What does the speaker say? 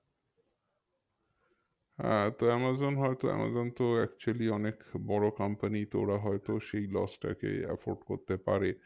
হ্যাঁ তো আমাজন হয়তো আমাজন তো actually অনেক বড়ো company তো ওরা হয়তো সেই loss টা কে effort করতে পারে